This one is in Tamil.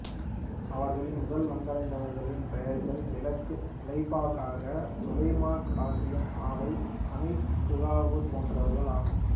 அவர்களில் முதல் வந்தடைந்தவர்களின் பெயர்கள் விளக்கு லெப்பை காக்கா சுலைமான் காசிம் ஆவை அமீட் சுகூர் போன்றவர்களாகும்